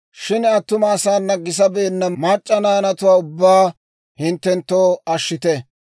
Shin attuma asaana gisabeenna mac'c'a naanatuwaa ubbaa hinttenttoo ashshite.